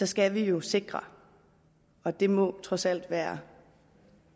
skal vi jo sikre og det må trods alt være